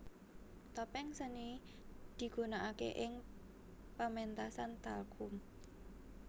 Topeng seni digunakake ing pementasan talchum